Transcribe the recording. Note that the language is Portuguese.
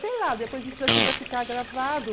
Sei lá, depois isso daqui vai ficar gravado.